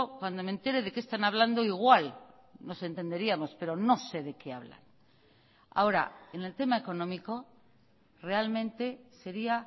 cuando me entere de qué están hablando igual nos entenderíamos pero no sé de qué hablan ahora en el tema económico realmente sería